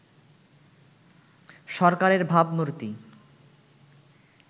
সরকারের ভাবমূর্তি